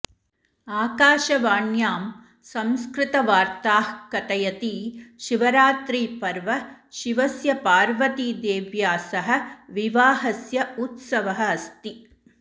आकाशवाण्यां संस्कृतवार्ताः कथयति शिवरात्रिपर्व शिवस्य पार्वतीदेव्या सह विवाहस्य उत्सवः अस्ति